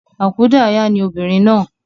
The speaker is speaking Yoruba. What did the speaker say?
Àkúdayà ni obìnrin náà